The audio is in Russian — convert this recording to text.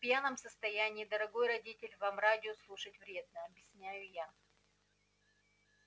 а в пьяном состоянии дорогой родитель вам радио слушать вредно объясняю я